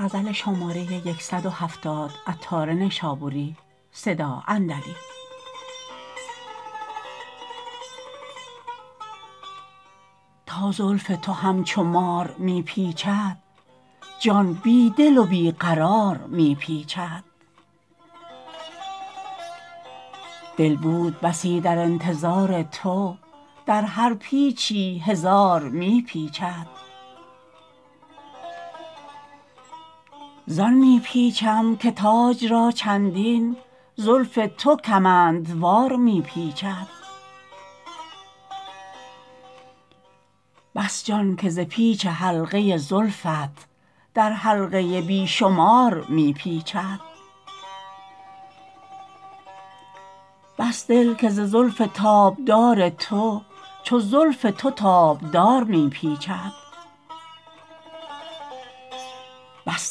تا زلف تو همچو مار می پیچد جان بی دل و بی قرار می پیچد دل بود بسی در انتظار تو در هر پیچی هزار می پیچد زان می پیچم که تاج را چندین زلف تو کمندوار می پیچد بس جان که ز پیچ حلقه زلفت در حلقه بی شمار می پیچد بس دل که ز زلف تابدار تو چو زلف تو تابدار می پیچد بس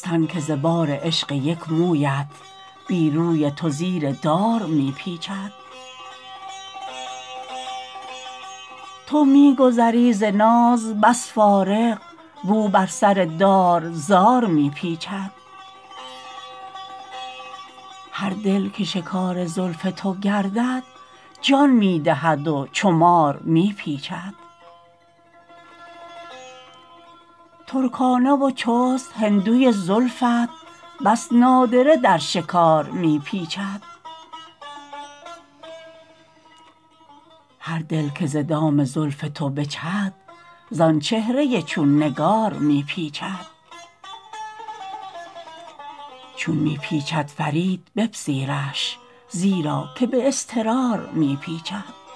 تن که ز بار عشق یک مویت بی روی تو زیر دار می پیچد تو می گذری ز ناز بس فارغ و او بر سر دار زار می پیچد هر دل که شکار زلف تو گردد جان می دهد و چو مار می پیچد ترکانه و چست هندوی زلفت بس نادره در شکار می پیچد هر دل که ز دام زلف تو بجهد زان چهره چون نگار می پیچد چون می پیچد فرید بپذیرش زیرا که به اضطرار می پیچد